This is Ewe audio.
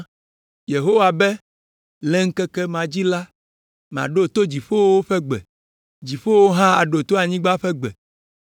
Yehowa be: “Le ŋkeke ma dzi la, maɖo to dziƒowo ƒe gbe, dziƒowo hã aɖo to anyigba ƒe gbe,